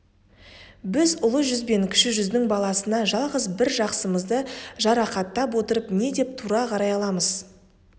біз ұлы жүз бен кіші жүздің баласына жалғыз бір жақсымызды жарақаттап отырып не деп тура қарай аламыз